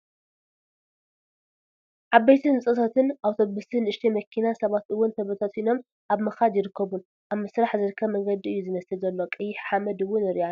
ሓበይቲ ህንፃታትን ኣተውስን ንእሽተይ መኪናን ሰባት እውን ተበታቲኖም ኣበ ምካድ ይርከቡንኣብ ምስራሕ ዝርከብ መንገዲ እዩ ዝመስል ዘሎ ቀይሕ ሓመድ እውን ንርኢ ኣለና።